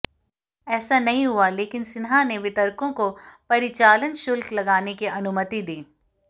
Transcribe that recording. ऐसा नहीं हुआ लेकिन सिन्हा ने वितरकों को परिचालन शुल्क लगाने की अनुमति दी